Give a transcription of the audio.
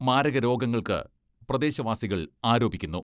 മാരകരോഗങ്ങൾക്ക് പ്രദേശവാസികൾ ആരോപിക്കുന്നു.